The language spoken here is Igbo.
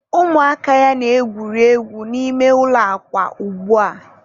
ụmụaka ya na-egwuri egwu n'ime ụlọ akwa ugbua.